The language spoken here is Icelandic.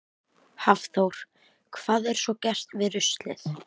Hafþór: Hvað er svo gert við ruslið?